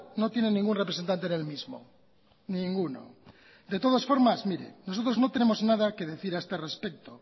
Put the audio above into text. no tiene ningún representante en el mismo ninguno de todas formas mire nosotros no tenemos nada que decir a este respecto